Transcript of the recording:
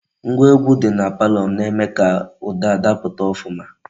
Ngwa egwu di na palo na-eme ka uda daputa ofuma.